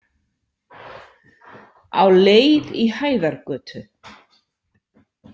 Á leið í Hæðargötu.